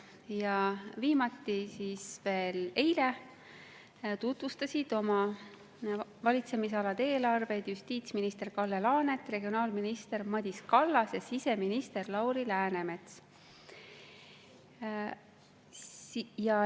Ja viimati, eile tutvustasid oma valitsemisala eelarvet justiitsminister Kalle Laanet, regionaalminister Madis Kallas ja siseminister Lauri Läänemets.